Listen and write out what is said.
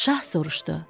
Şah soruşdu: